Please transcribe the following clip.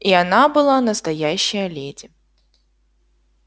и она была настоящая леди